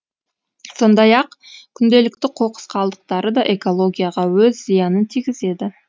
сондай ақ күнделікті қоқыс қалдықтары да экологияға өз зиянын тигізеді